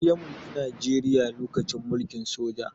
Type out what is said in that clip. Shi ya mulki najeriya lokacin mulkin soja